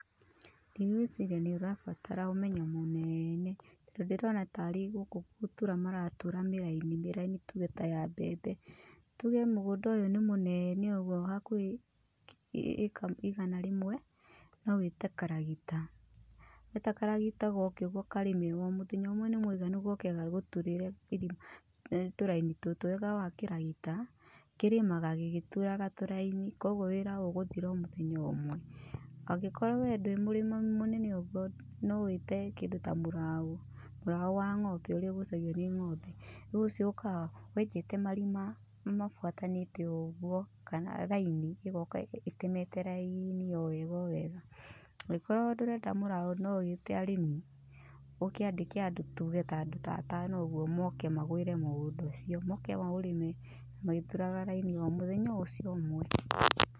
Ndigwĩciria nĩ ũrabatara ũmenyo mũnene. Tondũ ndĩrona tarĩ gũkũ gũtura maratura mĩraini, mĩraini tuge ta ya mbembe. Tuge mũgũnda ũyũ nĩ mũnene ũguo hakuhĩ ĩka igana rĩmwe, no wĩte karagita, weta karagita goke ũguo karĩme ona mũthenya ũmwe nĩ mũiganu goke gagũturĩre tũraini tũtũ. Wega wa kĩragita, kĩrĩmaga gĩgĩturaga tũraini koguo wĩra ũgũthiraga mũthenya ũmwe, angĩkorwo we ndũrĩ mũrĩmi mũnene ũguo no wĩte kĩndũ ta mũraũ, mũraũ wa ng'ombe ũrĩa ũgucagio nĩ ng'ombe, rĩũ ũcio ũkaga wenjete marima mabuatanĩte ũguo, kana raini, ĩgoka ĩtemete raini o wega o wega. Angĩkorwo ndũrenda mũraũ no wĩte arĩmi, ũkĩandĩke andũ tuge ta andũ atano ũguo, moke magwĩre mũgũnda ũcio, moke maũrĩme, magĩturaga raini o mũthenya o ũcio ũmwe.